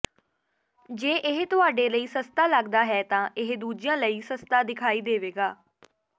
ਜੇ ਇਹ ਤੁਹਾਡੇ ਲਈ ਸਸਤੀ ਲਗਦਾ ਹੈ ਤਾਂ ਇਹ ਦੂਜਿਆਂ ਲਈ ਸਸਤਾ ਦਿਖਾਈ ਦੇਵੇਗਾ